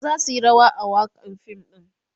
su zasu Yi rawa a wakan fim ɗin